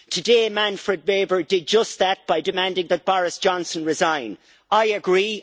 Today, Manfred Weber did just that by demanding that Boris Johnson resign. I agree.